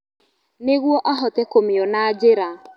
Nĩguo ahote kũmĩona njĩra.